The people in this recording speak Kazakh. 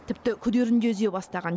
тіпті күдерін де үзе бастаған